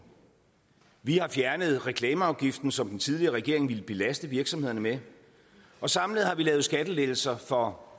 vi har fjernet reklameafgiften som den tidligere regering ville belaste virksomhederne med og samlet har vi lavet skattelettelser for